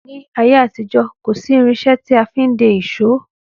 Ní ayé àtijó, kòsi irinsé tí a fin de ìsọ